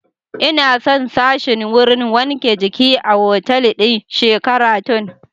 Ina son sashin wurin wanke jiki a otal ɗin Sheraton